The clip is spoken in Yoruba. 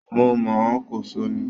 Mo mọ̀ ọ́n, Kòso ni